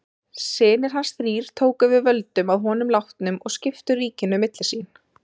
Synir hans þrír tóku við völdum að honum látnum og skiptu ríkinu milli sín.